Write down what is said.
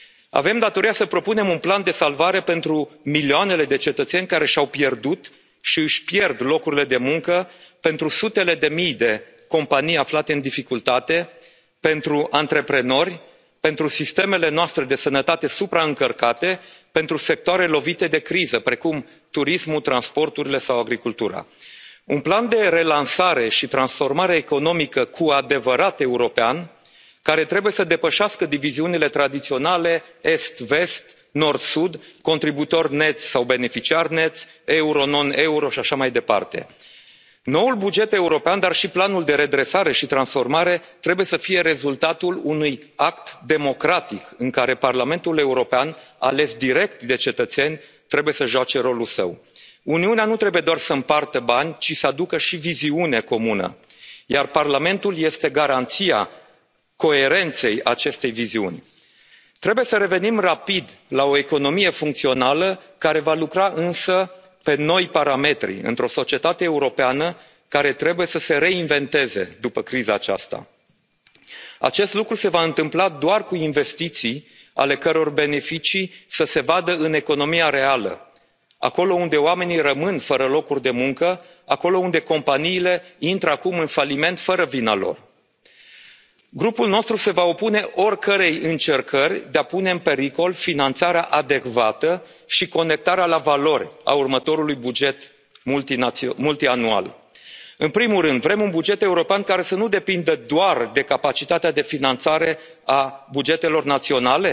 Avem datoria să propunem un plan de salvare pentru milioanele de cetățeni care și au pierdut și își pierd locurile de muncă, pentru sutele de mii de companii aflate în dificultate, pentru antreprenori, pentru sistemele noastre de sănătate supraîncărcate, pentru sectoarele lovite de criză precum turismul, transporturile sau agricultura. Un plan de relansare și transformare economică cu adevărat european, care trebuie să depășească diviziunile tradiționale est vest, nord sud, contribuitor net sau beneficiar net, euro non euro și așa mai departe. Noul buget european, dar și planul de redresare și transformare, trebuie să fie rezultatul unui act democratic, în care Parlamentul European ales direct de cetățeni trebuie să joace rolul său. Uniunea nu trebuie doar să împartă bani, ci să aducă și viziune comună, iar Parlamentul este garanția coerenței acestei viziuni. Trebuie să revenim rapid la o economie funcțională care va lucra însă pe noi parametri, într o societate europeană care trebuie să se reinventeze după criza aceasta. Acest lucru se va întâmpla doar cu investiții ale căror beneficii să se vadă în economia reală, acolo unde oamenii rămân fără locuri de muncă, acolo unde companiile intră acum în faliment fără vina lor. Grupul nostru se va opune oricărei încercări de a pune în pericol finanțarea adecvată și conectarea la valori a următorului buget multianual. În primul rând, vrem un buget european care să nu depindă doar de capacitatea de finanțare a bugetelor